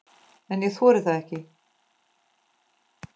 En ég þori það ekki.